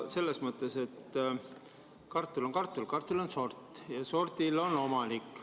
Selles mõttes, et kartul on küll kartul, aga kartulil on sort ja sordil on omanik.